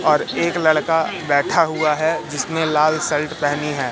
और एक लड़का बैठा हुआ है जिसने लाल शर्ट पहनी है।